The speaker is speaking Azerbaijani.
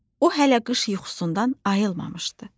O hələ qış yuxusundan ayılmamışdı.